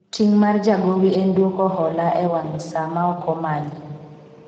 ting' mar jagowi en dwoko hola e wang saa ma ok omanyi